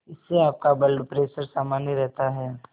इससे आपका blood pressure सामान्य रहता है